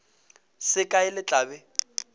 se kae le tla be